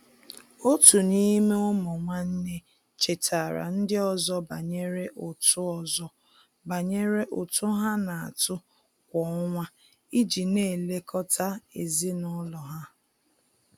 Otu n'ime ụmụ nwanne chetaara ndị ọzọ banyere ụtụ ọzọ banyere ụtụ ha na-atụ kwa ọnwa iji na-elekọta ezinụlọ ha.